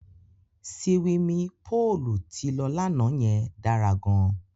Siwimi póòlù tí lọ lánàá yẹn dára gan.